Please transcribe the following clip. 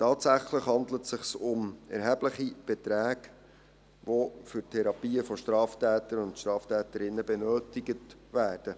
Tatsächlich handelt es sich um erhebliche Beträge, die für Therapien von Straftätern und Straftäterinnen benötigt werden.